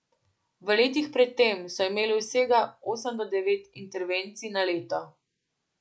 V letih pred tem so imeli vsega osem do devet intervencij na leto!